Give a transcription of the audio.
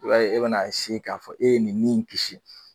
I b'a e bɛna a k'a fɔ e bɛna nin min kisi